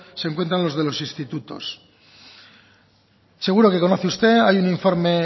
se encuentran los de los institutos seguro que conoce usted hay un informe